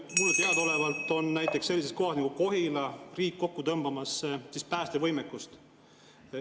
Mulle teadaolevalt on näiteks sellises kohas nagu Kohila riik päästevõimekust kokku tõmbamas.